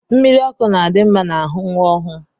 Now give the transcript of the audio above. Mmiri ọkụ na-adi mma n'ahụ nwa ọhụụ